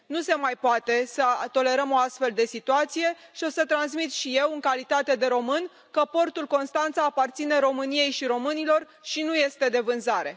Nu se mai poate să tolerăm o astfel de situație și o să transmit și eu, în calitate de român, că portul Constanța aparține României și românilor și nu este de vânzare.